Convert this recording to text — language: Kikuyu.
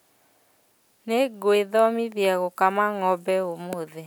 Nĩngwĩthomithia gũkama ng'ombe ũmũthĩ